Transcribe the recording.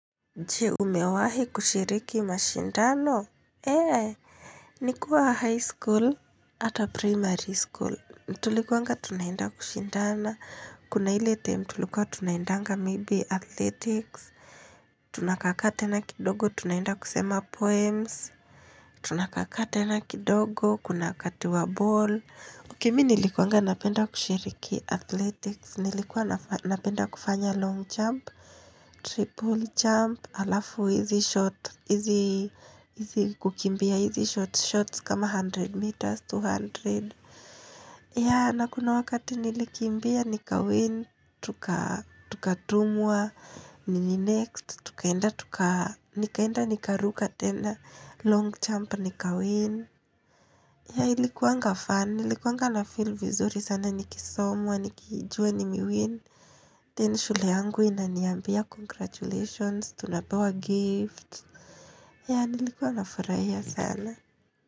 Je, umewahi kushiriki mashindano? Eee, nikuwa high school. Hata primary school. Mtulikuanga tunaenda kushindana. Kuna ile term tulikuwa tunaendanga maybe athletics. Tunakakaa tena kidogo tunaenda kusema poems. Tunakakaa tena kidogo. Kuna kati wa ball. Ukimi nilikuanga napenda kushiriki athletics. Nilikuwa napenda kufanya long jump. Triple jump alafu hizi short hizi kukimbia hizi shorts, short kama 100 meters, 200 ya nakuna wakati nilikimbia nika win, tukatumwa nini next, tukaenda tuka nikaenda nika ruka tena, long jump nika win ya ilikuanga fun, ilikuanga na feel vizuri sana nikisomwa, nikijua nime win Then shule angu inaniambia congratulations, tunapewa gifts yea, nilikuanafurahia sana.